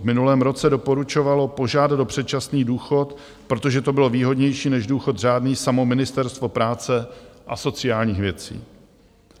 V minulém roce doporučovalo požádat o předčasný důchod, protože to bylo výhodnější než důchod řádný, samo Ministerstvo práce a sociální věcí.